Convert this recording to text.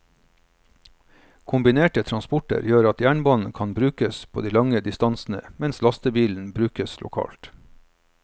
Kombinerte transporter gjør at jernbanen kan brukes på de lange distansene mens lastebilen brukes lokalt.